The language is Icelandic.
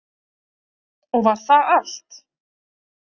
Og var það allt?